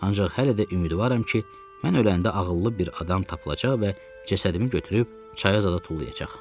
Ancaq hələ də ümidvaram ki, mən öləndə ağıllı bir adam tapılacaq və cəsədimi götürüb çaya zada tullayacaq.